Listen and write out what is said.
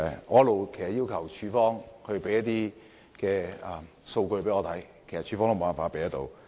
我一直要求局方提供數據，但局方也無法提供。